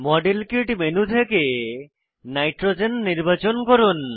model kit menu থেকে nitrogen নির্বাচন করুন